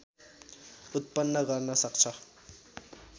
उत्पन्न गर्न सक्छ